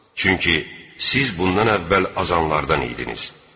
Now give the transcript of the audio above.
Çünki siz bundan əvvəl azanlardan idiniz.